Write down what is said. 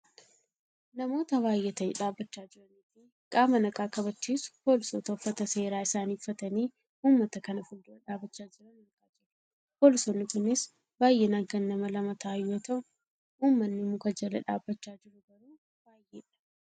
namoota baayyatanii dhaabbachaa jiranii fi qaama nagaa kabachiisu poolisoota uffata seeraa isaanii uffatanii uummata kana fuuldura dhaabbachaa jiran argaa jirra. Poolisoonni kunis baayyinaan kan lama ta'an yoo ta'u , uummanni muka jala dhaabbachaa jiru garuu baayyeedha.